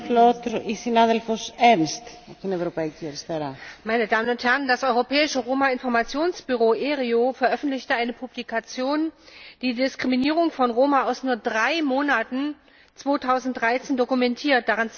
Frau Präsidentin, meine Damen und Herren! Das Europäische Roma Informationsbüro ERIO veröffentlichte eine Publikation, die Diskriminierung von Roma aus nur drei Monaten 2013 dokumentiert.